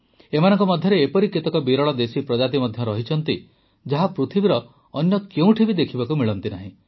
ଏମାନଙ୍କ ମଧ୍ୟରେ ଏପରି କେତେକ ବିରଳ ଦେଶୀ ପ୍ରଜାତି ମଧ୍ୟ ରହିଛନ୍ତି ଯାହା ପୃଥିବୀର ଅନ୍ୟ କେଉଁଠି ଦେଖିବାକୁ ମିଳନ୍ତିନାହିଁ